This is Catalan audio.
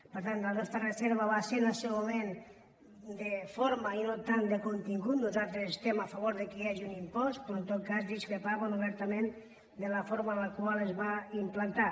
per tant la nostra reserva va ser en el seu moment de forma i no tant de contingut nosaltres estem a favor que hi hagi un impost però en tot cas discrepàvem obertament de la forma amb la qual es va implantar